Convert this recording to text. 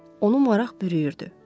Onu maraq bürüyürdü.